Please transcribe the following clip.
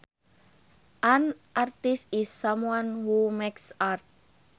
An artist is someone who makes art